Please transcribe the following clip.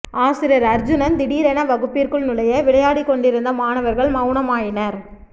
ஆசிரியர் அர்ஜூனன் திடீரென வகுப்பிற்குள் நுழைய விளையாடிக் கொண்டிருந்த மாணவர்கள் மவுனம் ஆயினர்